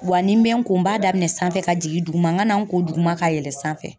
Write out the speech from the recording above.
Wa nin bɛ n ko n b'a daminɛ sanfɛ ka jigin duguma n ka na n ko duguma ka yɛlɛn sanfɛ.